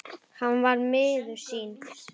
Hann var miður sín.